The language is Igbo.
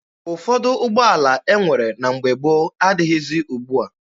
Ụfọdụ ụgbọala e nwere na mgbe gboo adịghịzi ugbua.